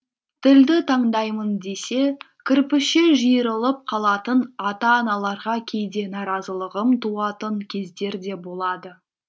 тілді таңдаймын десе кірпіше жиырылып қалатын ата аналарға кейде наразылығым туатын кездер де болады